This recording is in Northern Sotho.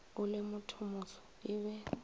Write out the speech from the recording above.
o le mothomoso e be